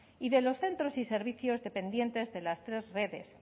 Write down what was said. y de los centros y servicios dependientes de las tres redes